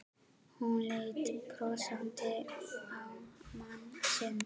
Hún leit brosandi á mann sinn.